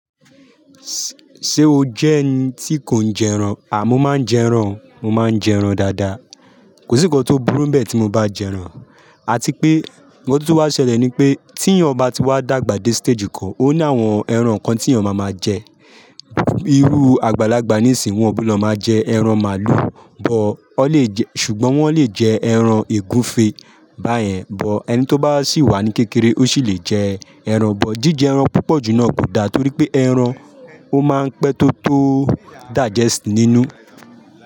Ṣé o jẹ́ ẹni tí kò ń jẹ ẹran? À, mo máa ń jẹ ẹran, mo máa ń jẹ ẹran dáadáa. Kò sí nǹkan tó burú bẹ́ẹ̀ tí mo bá jẹ ẹran. Àti pé, ǹkan tó wá ṣẹlẹ̀ ni pé tí ẹni ọba ti wá dàgbà dé stage kan, ó ní àwọn ẹran kan tí ẹni ọba máa máa jẹ. Irú àgbàlagbà níìsín wọ́n ò ní lọ máa jẹ ẹran màálù, bọ̀ ọ́ lè jẹ́ ṣùgbọ́n wọ́n lè jẹ ẹran ègúnfe. Báyẹn bọ̀ ẹni tó bá sì wà ní kékeré ó sì lè jẹ ẹran, bọ̀ jí jẹ ẹran púpọ̀ jù náà kò da torí pé ẹran ó máa ń pẹ́ tó tó digest nínú.